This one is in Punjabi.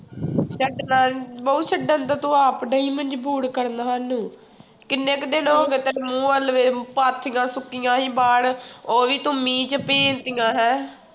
ਛੱਡਣਾ ਬਹੁ ਛੱਡਣ ਤਾਂ ਤੂੰ ਆਪ ਡਈ ਮਜ਼ਬੂਰ ਕਰਨ ਸਾਨੂੰ ਕਿੰਨੇ ਕੁ ਦਿਨ ਹੋ ਗਏ ਤੇਰੇ ਮੂੰਹ ਵੱਲ ਵੇਖ ਪਾਥੀਆਂ ਸੁੱਕੀਆਂ ਸੀ ਬਾਹਰ ਉਹ ਵੀ ਤੂੰ ਮੀਂਹ ਚ ਭੀਜ ਦਿੱਤੀਆਂ ਹੈਂ